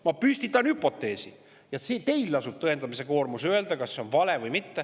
Ma püstitan hüpoteesi, aga teil lasub tõendamise koormis: öelge, kas see on vale või mitte.